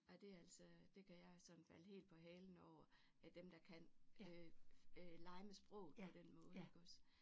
Ej det er altså det kan jeg sådan falde helt på halen over at dem der kan øh lege med sprog på den måde iggås